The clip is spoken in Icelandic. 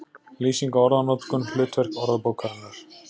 Lýsing á orðanotkun, hlutverk orðabókarinnar